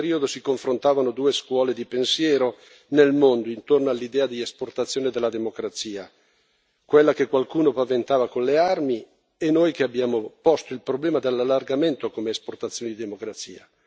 In quel periodo si confrontavano due scuole di pensiero nel mondo intorno all'idea di esportazione della democrazia quella che qualcuno paventava con le armi e noi che abbiamo posto il problema dell'allargamento come esportazione di democrazia.